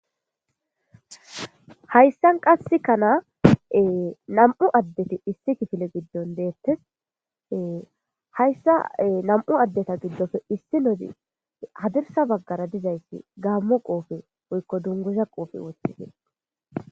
hayssan qasse kana nam'u addeti issi kifile giddon deettese hayssa nam'u addeta giddofe issi nodi hadirsa baggara dizayssi gaammo qoofe woykko dunguza qoofe woththides.